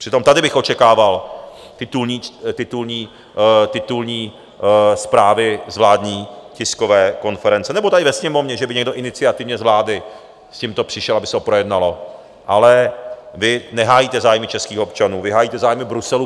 Přitom tady bych očekával titulní zprávy z vládní tiskové konference, nebo tady ve Sněmovně, že by někdo iniciativně z vlády s tímto přišel, aby se to projednalo, ale vy nehájíte zájmy českých občanů, vy hájíte zájmu Bruselu.